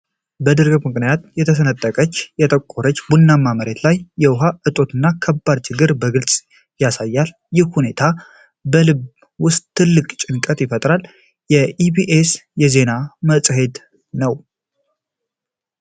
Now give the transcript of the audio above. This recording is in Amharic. በድርቅ ምክንያት የተሰነጠቀችው የጠቆረች ቡናማ መሬት፣ የውሃ እጦትን ከባድ ችግር በግልጽ ታሳያለች። ይህ ሁኔታ በልብ ውስጥ ትልቅ ጭንቀት ይፈጥራል። የኢቢኤስ የዜና መጽሄት ነው።